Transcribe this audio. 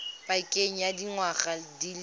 pakeng ya dingwaga di le